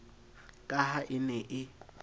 ka ha e ne e